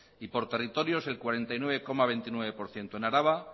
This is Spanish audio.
y por territorios el cuarenta y nueve coma veintinueve por ciento en araba